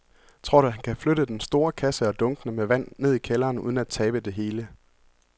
Tror du, at han kan flytte den store kasse og dunkene med vand ned i kælderen uden at tabe det hele?